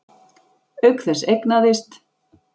Auk þess eignaðist